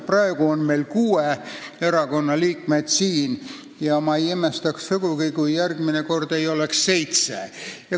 Praegu on meil siin kuue erakonna liikmed ja ma ei imestaks sugugi, kui järgmine kord oleks siin seitsme erakonna liikmed.